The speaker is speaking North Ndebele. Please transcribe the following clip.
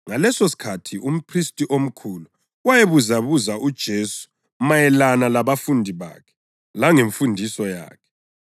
Ngalesosikhathi umphristi omkhulu wayebuzabuza uJesu mayelana labafundi bakhe langemfundiso yakhe.